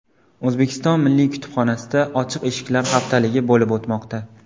O‘zbekiston milliy kutubxonasida ochiq eshiklar haftaligi bo‘lib o‘tmoqda.